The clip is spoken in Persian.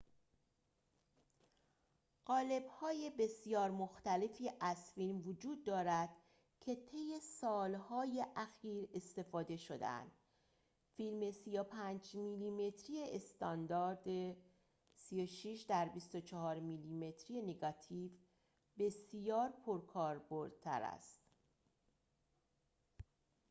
قالب‌های بسیار مختلفی از فیلم وجود دارد که طی سال‌های اخیر استفاده شده‌اند. فیلم 35 میلی‌متری استاندارد 36 در 24 میلی‌متر نگاتیو بسیار پرکاربردتر است